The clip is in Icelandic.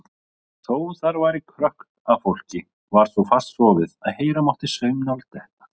Þó þar væri krökkt af fólki var svo fast sofið að heyra mátti saumnál detta.